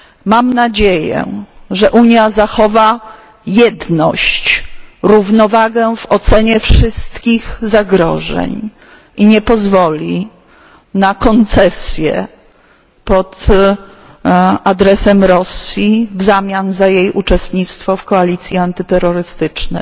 Mam nadzieję, że Unia zachowa jedność, równowagę w ocenie wszystkich zagrożeń i nie pozwoli na koncesje pod adresem Rosji w zamian za jej uczestnictwo w koalicji antyterrorystycznej.